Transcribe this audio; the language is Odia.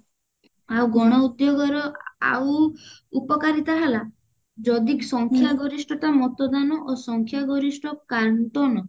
ଆଉ ଗଣ ଉଦ୍ଯୋଗ ର ଆଉ ଉପକାରିତା ହେଲା ଯଦି ସଂଖ୍ୟା ଗରିଷ୍ଠତା ମତଦାନ ଓ ସଂଖ୍ୟା ଗରିଷ୍ଠ କାନ୍ତନ